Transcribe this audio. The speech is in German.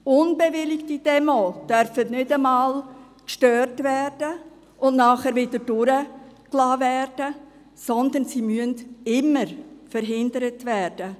Nicht bewilligte Demos dürfen nicht einmal gestört und dann wieder durchgelassen werden, sondern sie müssen immer verhindert werden.